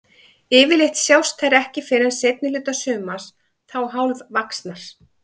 Yfirleitt sjást þær ekki fyrr en seinni hluta sumars, þá hálfvaxnar.